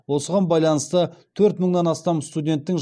осыған байланысты төрт мыңнан астам студенттің жатақханаға мұқтаждығы байқалады